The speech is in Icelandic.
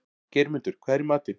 Geirmundur, hvað er í matinn?